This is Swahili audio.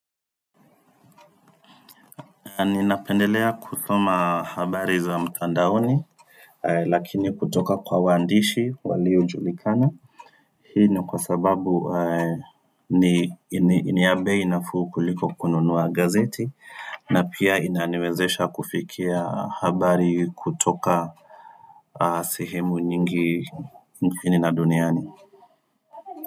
Ninapendelea kusoma habari za mtandaoni Lakini kutoka kwa waandishi waliojulikana Hii ni kwa sababu ni ya bei nafuu kuliko kununua gazeti na pia inaniwezesha kufikia habari kutoka sehemu nyingi nchini na duniani.